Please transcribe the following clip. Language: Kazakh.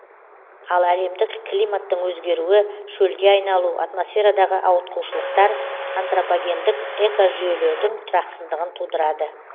ал әлемдік климаттың өзгеруі шөлге айналу атмосферадағы ауытқушылықтар антропогендік экожүйелердің тұрақсыздығын тудырады